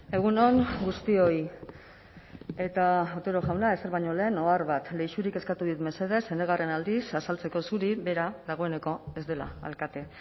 egun on guztioi eta otero jauna ezer baino lehen ohar bat leixurik eskatu dit mesedez enegarren aldiz azaltzeko zuri bera dagoeneko ez dela alkate